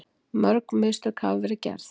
Mörg mistök hafa verið gerð